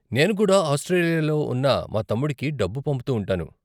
నేను కుడా ఆస్ట్రేలియాలో ఉన్న మా తమ్ముడికి డబ్బు పంపుతూ ఉంటాను.